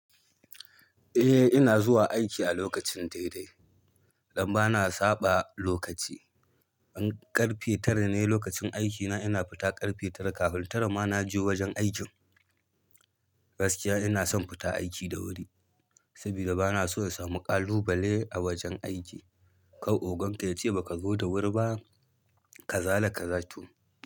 Eh ina zuwa aiki a lokacin daidai. Dan ba na saɓa lokaci. In ƙarfe tara ne lokacin aikina. Ina fita ƙarfe tara kafin tara ma na je wajen aikin. Gaskiya ina son fita aiki da wuri, saboda ba na so in samu ƙalubale a wajen aiki. Kar ogan ka ya ce baka zo da wuri ba ka zala ka zato.